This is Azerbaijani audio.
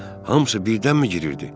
Hamısı birdənmi girirdi?